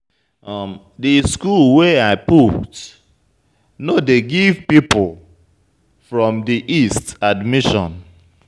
Di school wey I put no dey give pipu from di east admission.